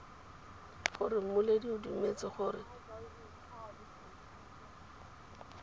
gore mmoledi o dumetse gore